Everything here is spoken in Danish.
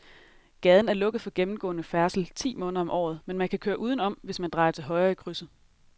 Gaden er lukket for gennemgående færdsel ti måneder om året, men man kan køre udenom, hvis man drejer til højre i krydset.